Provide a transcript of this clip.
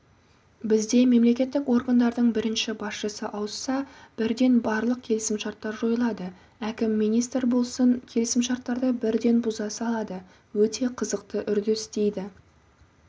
бізде мемлекеттік органдардың бірінші басшысы ауысса бірден барлық келісімшарттар жойылады әкім министр болсын келісімшарттарды бірден бұза салады өте қызықты үрдіс дейді